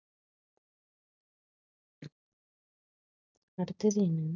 அடுத்தது என்ன?